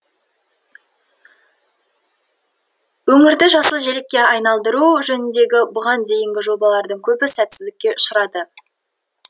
өңірді жасыл желекке айналдыру жөніндегі бүған дейінгі жобалардың көбі сәтсіздікке ұшырады